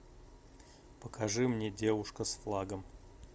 покажи мне девушка с флагом